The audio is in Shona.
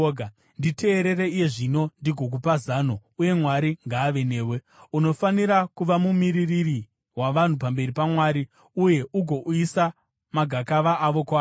Nditeerere iye zvino ndigokupa zano, uye Mwari ngaave newe. Unofanira kuva mumiririri wavanhu pamberi paMwari uye ugouyisa magakava avo kwaari.